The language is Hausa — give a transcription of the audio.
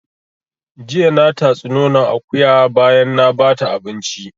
Jiya na tatsi nonon akuya bayan na bata abinci